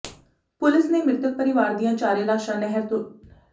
police ਨੇ ਮ੍ਰਿਤਕ ਪਰਿਵਾਰ ਦੀਆਂ ਚਾਰੇ ਲਾਸ਼ਾਂ ਨਹਿਰ ਚੋਂ ਬਰਾਮਦ ਕਰ ਲਈਆਂ ਹਨ